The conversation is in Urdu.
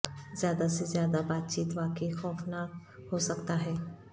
زیادہ سے زیادہ بات چیت واقعی خوفناک ہو سکتا ہے